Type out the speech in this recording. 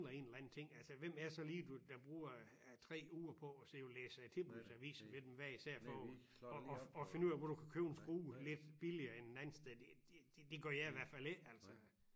Ja ja og du kunne godt tage igen jamen altså jeg ville da sige hvis det fordi jeg mangler en eller anden ting altså hvem er så lige der bruger 3 uger på at sidde og læse øh tilbudsaviser mellem hver især for at at finde ud af hvor du kan købe en skrue lidt billigere end et andet sted det det det gør jeg i hvert fald ikke altså